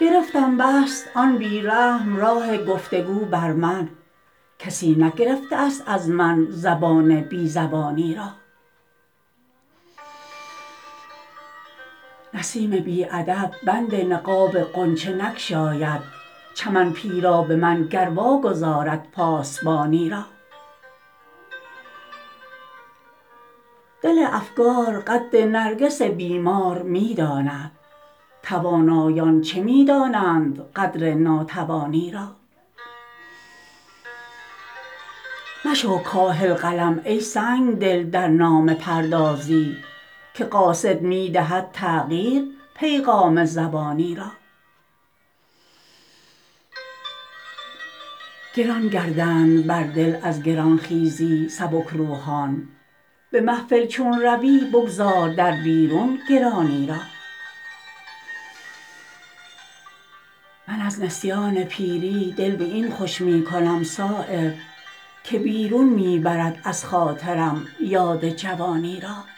گرفتم بست آن بی رحم راه گفتگو بر من کسی نگرفته است از من زبان بی زبانی را نسیم بی ادب بند نقاب غنچه نگشاید چمن پیرا به من گر واگذارد پاسبانی را دل افگار قدر نرگس بیمار می داند توانایان چه می دانند قدر ناتوانی را مشو کاهل قلم ای سنگدل در نامه پردازی که قاصد می دهد تغییر پیغام زبانی را گران گردند بر دل از گرانخیزی سبکروحان به محفل چون روی بگذار در بیرون گرانی را من از نسیان پیری دل به این خوش می کنم صایب که بیرون می برد از خاطرم یاد جوانی را